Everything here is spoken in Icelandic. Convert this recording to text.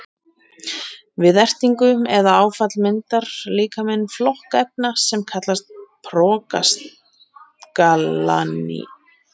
Við ertingu eða áfall myndar líkaminn flokk efna sem kallast prostaglandín.